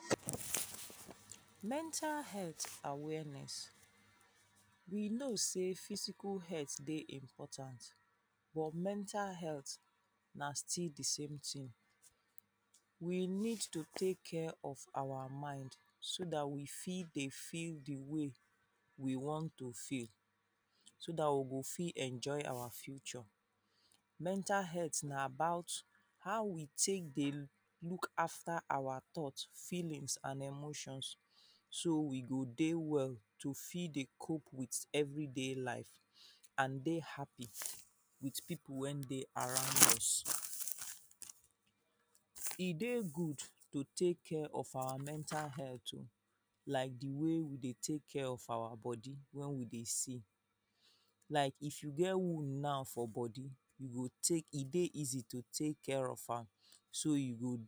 Mental health awareness, we know sey physical health dey important but mental health na still di same tin. We need to take care of our mind so dat we fit dey feel di way we want to feel so dat we go fit enjoy our future. Mental health na about how we take dey look after our thoughts, feelings and emotions so we go dey well to fit dey cop with every day life and dey happy with pipu wey dey around us. E dey gud to take care of our mental health oh like di way we dey take care of our body wen we dey sick, like if you get wound now for body you go take, e dey easy to take care of am so you go